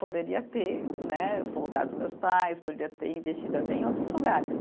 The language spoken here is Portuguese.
Poderia ter, né, voltado com os meus pais, poderia ter investido até em outros lugares.